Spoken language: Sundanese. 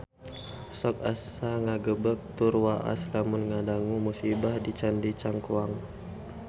Sok asa ngagebeg tur waas lamun ngadangu musibah di Candi Cangkuang